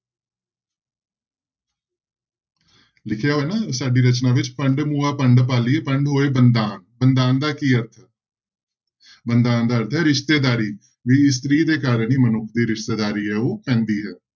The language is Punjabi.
ਲਿਖਿਆ ਹੋਇਆ ਨਾ ਸਾਡੀ ਰਚਨਾ ਵਿੱਚ ਭੰਡੁ ਮੁਆ ਭੰਡੁ ਭਾਲੀਐ ਭੰਡਿ ਹੋਵੈ ਬੰਧਾਨ, ਬੰਧਾਨ ਦਾ ਕੀ ਅਰਥ ਹੈ ਬੰਧਾਨ ਦਾ ਅਰਥ ਹੈ ਰਿਸ਼ਤੇਦਾਰੀ, ਵੀ ਇਸਤਰੀ ਦੇ ਕਾਰਨ ਹੀ ਮਨੁੱਖ ਦੀ ਰਿਸ਼ਤੇਦਾਰੀ ਹੈ ਉਹ ਪੈਂਦੀ ਹੈ।